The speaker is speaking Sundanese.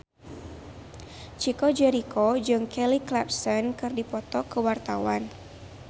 Chico Jericho jeung Kelly Clarkson keur dipoto ku wartawan